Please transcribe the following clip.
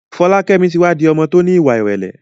Folakemi ti wa di ọmọ ti o ní ìwà ìrẹlẹ.